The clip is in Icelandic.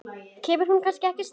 Kemur hún ekki strax?